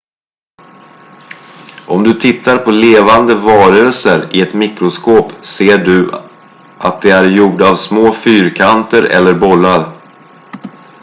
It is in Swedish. om du tittar på levande varelser i ett mikroskop ser du att de är gjorda av små fyrkanter eller bollar